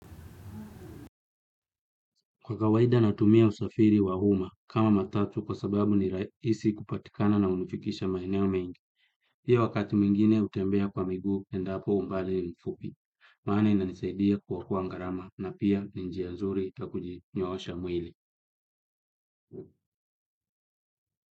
Kwa kawaida natumia usafiri wa uma kama matatu kwa sababu ni rahisi kupatikana na hunifikisha maeneo mengi. Pia wakati mwingine hutembea kwa miguu endapo umbali ni mfupi. Maana inanisaidia kuokoa gharama na pia ni njia nzuri yakujinyoosha mwili.